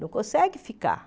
Não conseguem ficar.